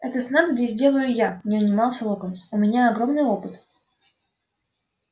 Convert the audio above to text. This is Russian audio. это снадобье сделаю я не унимался локонс у меня огромный опыт